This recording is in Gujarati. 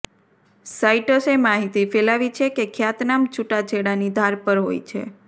સાઇટ્સે માહિતી ફેલાવી છે કે ખ્યાતનામ છુટાછેડા ની ધાર પર હોય છે